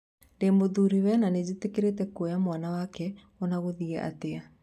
Ndĩmũthuriwe na nĩjĩtĩkĩrĩte kuoya mwana wake onagũthiĩ atĩa.